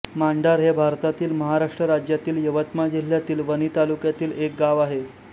मांडर हे भारतातील महाराष्ट्र राज्यातील यवतमाळ जिल्ह्यातील वणी तालुक्यातील एक गाव आहे